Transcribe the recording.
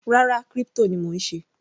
Rárá, crypto ni mò ń ṣe.